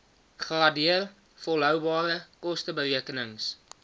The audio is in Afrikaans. gradeer volhoubare kosteberekenings